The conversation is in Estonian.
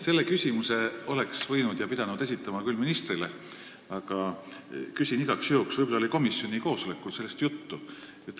Selle küsimuse oleks pidanud esitama küll ministrile, aga küsin igaks juhuks, võib-olla oli komisjoni koosolekul sellest juttu.